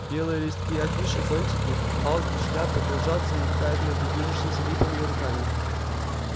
белые листки афиш зонтики палки шляпы кружатся и мелькают между движущимися липами и руками